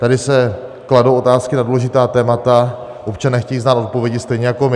Tady se kladou otázky na důležitá témata, občané chtějí znát odpovědi stejně jako my.